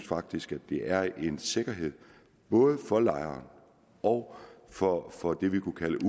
faktisk at det er en sikkerhed både for lejere og for og for dem vi kunne kalde